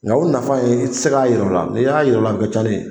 Nka u nafa ye i tɛ se ka yira u la, ni y'a yira ula o bɛ kɛ i talen ye.